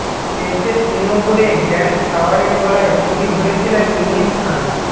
টেস্টে শূন্য করে গ্র্যান্ট ফ্লাওয়ারের গলায় ছুরি ধরেছিলেন ইউনিস খান